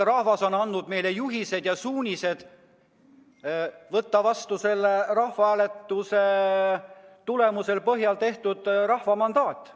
Rahvas on andnud meile juhised ja suunised võtta vastu rahvahääletuse põhjal antud rahva mandaat.